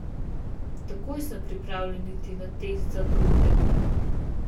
Takoj sem pripravljen iti na test za droge.